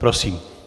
Prosím.